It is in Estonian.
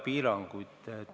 Piiranguid ei ole.